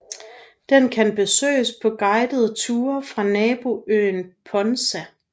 Den kan besøges på guidede ture fra naboøen Ponza